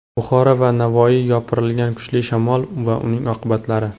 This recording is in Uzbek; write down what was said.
Buxoro va Navoiyga yopirilgan kuchli shamol va uning oqibatlari.